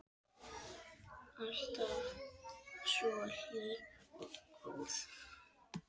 Alltaf svo hlý og góð.